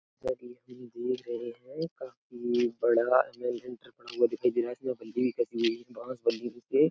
जैसा कि हम देख रहे हैं काफी बड़ा दिखाई दे रहा है। बल्ली बंधी हुई बांस बंधी हुई है।